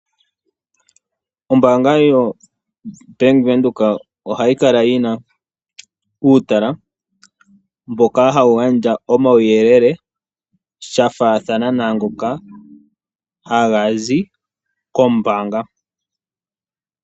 Ombaanga yaWindhoek ohayi kala yina uutala mboka hawu gandja omauyelele gafaathana naangoka haga zi kombaanga.